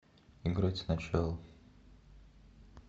играть сначала